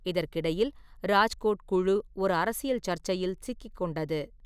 இதற்கிடையில், ராஜ்கோட் குழு ஒரு அரசியல் சர்ச்சையில் சிக்கிக் கொண்டது.